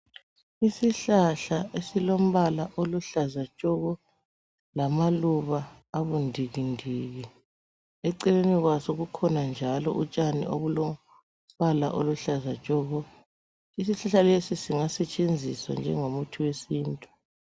Isihlahla esilombala oluhlaza tshoko lamaluba abundikindiki. Eceleni kwaso kukhona njalo utshani obulombala oluhlaza tshoko. Isihlahla lesi singasetshenziswa njengomuthi wesintu.